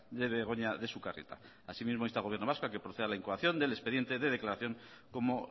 de begoña de sukarrieta asimismo insta al gobierno vasco a que proceda a la incoación del expediente de declaración como